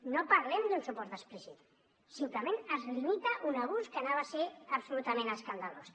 no parlem d’un suport explícit simplement es limita un abús que hauria estat absolutament escandalós